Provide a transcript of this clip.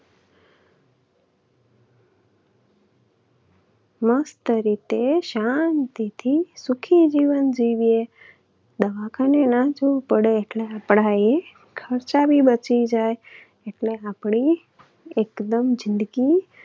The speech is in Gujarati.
મસ્ત રીતે શાંતિથી સુખી જીવન જીવીએ. દવાખાને ના જવું પડે એટલે આપણા એ ખર્ચા પણ બચી જાય અને આપણી એકદમ જિંદગી